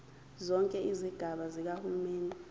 zonke izigaba zikahulumeni